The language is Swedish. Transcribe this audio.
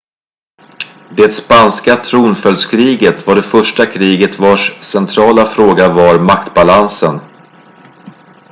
det spanska tronföljdskriget var det första kriget vars centrala fråga var maktbalansen